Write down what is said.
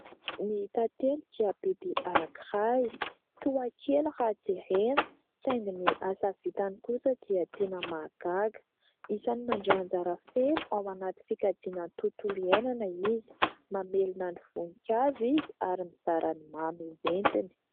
Ny tantely dia biby anankiray, toa kely raha jerena, saingy ny asa vitany kosa dia tena mahagaga. Isany mandray anjara feno ao anatin'ny fikajiana ny tontolo iainana izy. Mamelona ny voninkazo izy, ary mizara ny mamy entiny.